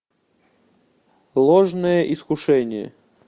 ложное искушение